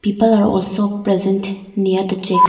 people are also present near the check